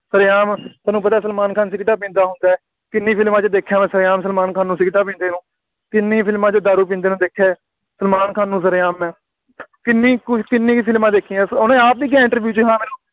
ਸ਼ਰ੍ਹੇਆਮ ਤੁਹਾਨੂੰ ਪਤਾ ਸਲਮਾਨ ਖਾਨ ਸਿਗਰੇਟਾਂ ਪੀਂਦਾ ਹੁੰਦਾ, ਕਿੰਨੀ ਫਿਲਮਾਂ 'ਚ ਦੇਖਿਆ ਮੈਂ ਸਰ੍ਹੇਆਮ ਸਲਮਾਨ ਖਾਨ ਨੂੰ ਸਿਗਰੇਟਾਂ ਪੀਂਦੇ ਨੂੰ, ਕਿੰਨੀ ਫਿਲਮਾਂ 'ਚ ਦਾਰੂ ਪੀਂਦੇ ਨੂੰ ਦੇਖਿਆ, ਸਲਮਾਨ ਖਾਨ ਨੂੰ ਸਰ੍ਹੇਆਮ ਮੈਂ, ਕਿੰਨੀ ਕੁੱਝ ਕਿੰਨੀ ਫਿਲਮਾਂ ਦੇਖੀਆਂ, ਉਹਨੇ ਆਪ ਵੀ ਕਿਹਾ iinterview ਵਿੱਚ, ਬਈ ਹਾਂ ਮੈਨੂੰ